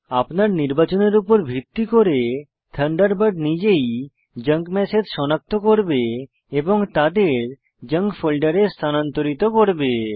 আপনার নির্বাচনের উপর ভিত্তি করে থান্ডারবার্ড নিজেই জাঙ্ক ম্যাসেজ সনাক্ত করবে এবং তাদের জাঙ্ক ফোল্ডারে স্থানান্তরিত করবে